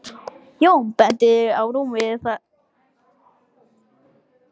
Jón og benti á rúmið þar sem litla stúlkan lá.